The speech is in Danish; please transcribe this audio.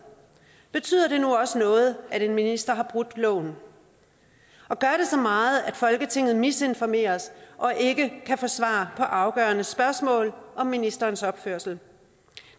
betyder det nu også noget at en minister har brudt loven og gør det så meget at folketinget misinformeres og ikke kan få svar på afgørende spørgsmål om ministerens opførsel